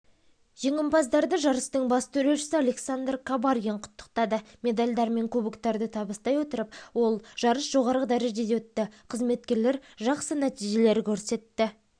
жеңімпаздарды жарыстың бас төрешісі александр кабаргин құттықтады медальдер мен кубоктарды табыстай отырып ол жарыс жоғарғы дәрежеде өтті қызметкерлер жақсы нәтижелер көрсетті